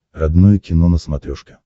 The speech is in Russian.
родное кино на смотрешке